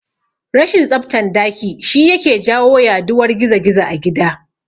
Rashin tsaftan daki shi yake jawo yaduwar gizo-gizo a gida